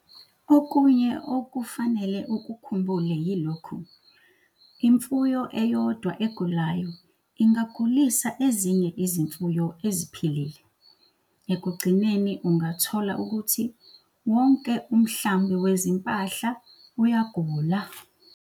Okunye okufanele ukukhumbule yilokhu- imfuyo eyodwa egulayo ingagulisa ezinye izimfuyo eziphilile. Ekugcineni ungathola ukuthi wonke umhlambi wezimpahla uyagula!